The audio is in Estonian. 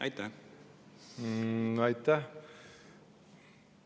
Aitäh!